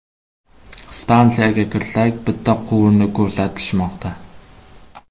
Stansiyaga kirsak, bitta quvurni ko‘rsatishmoqda.